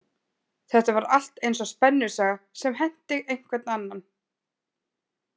Þetta var allt eins og spennusaga sem henti einhvern annan.